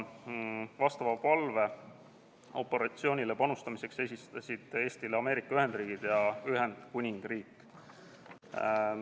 Vastava palve operatsioonil panustamiseks esitasid Eestile Ameerika Ühendriigid ja Ühendkuningriik.